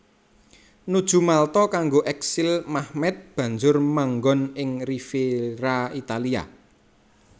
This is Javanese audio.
Nuju Malta kanggo eksil Mehmed banjur manggon ing Riviera Italia